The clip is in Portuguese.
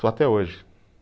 Só até hoje